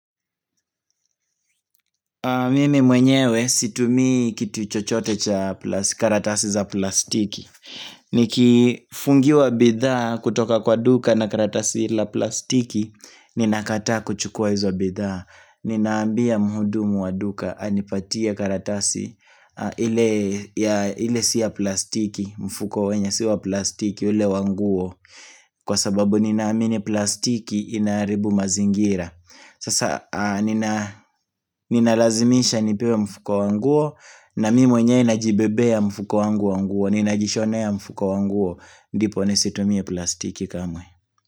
Mimi mwenyewe situmii kitu chochote cha karatasi za plastiki Nikifungiwa bidhaa kutoka kwa duka na karatasi la plastiki Ninakataa kuchukua hizo bidhaa Ninaambia mhudumu wa duka anipatie karatasi ile ile si ya plastiki mfuko wenye si wa plastiki ule wanguo Kwa sababu ninaamini plastiki inaharibu mazingira Sasa nina ninalazimisha nipewe mfuko wanguo na mimi mwenyewe najibebea mfuko wangu wa nguo Ninajishonea mfuko wanguo ndipo nisitumie plastiki kamwe.